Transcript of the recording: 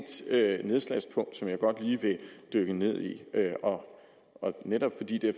nedslagspunkt som jeg godt lige vil dykke ned i og netop fordi det er